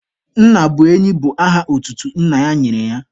Nna bụ enyi bụ aha otutu nna ya nyere ya.